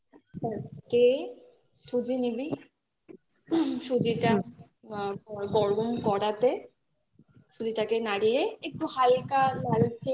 first এ সুজি নিবি সুজিটা আ গরম করাতে সুজিটাকে নাড়িয়ে একটু হালকা লালচে